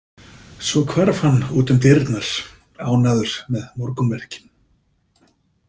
Svo hvarf hann út um dyrnar, ánægður með morgunverkin.